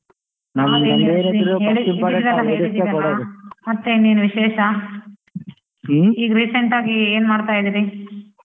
ಮತ್ತಿನ್ನೆನು ವಿಶೇಷ recent ಆಗ್ ಏನು ಮಾಡ್ತಯಿದಿರಿ?